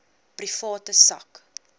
private sak